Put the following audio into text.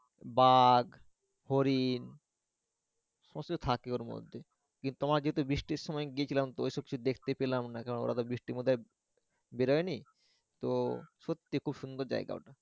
বাঘ হরিণ অবশ্য থাকে ওর মধ্যে কিন্তু তোমার যেহেতু বৃষ্টির সময় গেছিলাম তো এসব কিছু দেখতে পেলাম না কারন ওরা তো বৃষ্টির মধ্যে বেড়াও নি তো সত্যি খুব সুন্দর জায়গা।